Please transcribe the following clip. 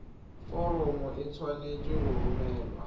foromo e tshwanetse go romelwa